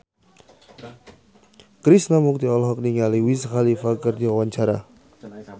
Krishna Mukti olohok ningali Wiz Khalifa keur diwawancara